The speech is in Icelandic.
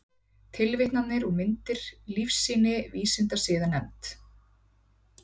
Tilvitnanir og myndir: Lífsýni Vísindasiðanefnd.